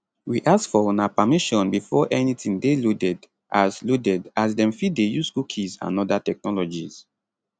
we ask for una permission before anytin dey loaded as loaded as dem fit dey use cookies and oda technologies